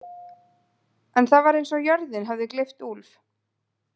En það var eins og jörðin hefði gleypt Úlf.